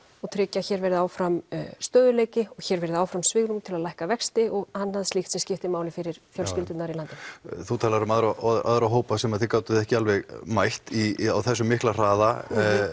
og tryggja að hér verði áfram stöðugleiki og hér verði áfram svigrúm til að lækka vexti og annað slíkst sem skiptir máli fyrir fjölskyldurnar í landinu þú talar um aðra hópa sem þið gátuð ekki alveg mætt á þessum mikla hraða